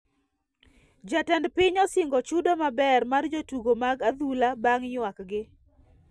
Jatend piny osingo chudo maber mar jotugo mag adhula bang ywak gi